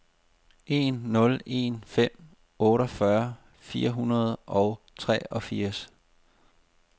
en nul en fem otteogfyrre fire hundrede og treogfirs